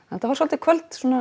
þetta var svolítið kvöld